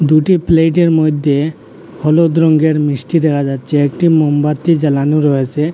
দুটি প্লেইটের মধ্যে হলুদ রঙ্গের মিষ্টি দেখা যাচ্ছে একটি মোমবাতি জ্বালানো রয়েসে।